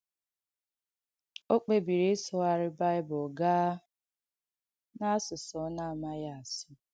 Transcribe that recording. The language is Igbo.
Ọ̀ kpèbìrī īsụ̀ghàrī Baịbụl gaa n’àsùsụ̀ ọ na-àmàghī āsụ̀.